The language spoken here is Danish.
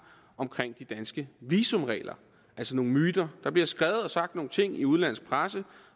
om de danske visumregler der altså nogle myter der bliver skrevet og sagt nogle ting i udenlandsk presse